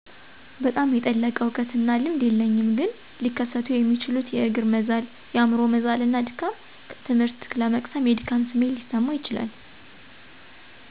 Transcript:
በጣም የጠለቀ እውቀትና ልምድ የለኝም ግን ሊከሰቱ የሚችሉት የእግር መዛል፣ የአምሮ መዛልና ድካም፣ ትምህርት ለመቅሰም የድካም ስሜት ሊሰማው ይችላል።